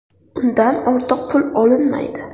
Undan ortiq pul olinmaydi.